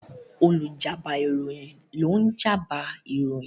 Olùjábọ̀ ìròyìn ló ń jábọ̀ ìròyìn.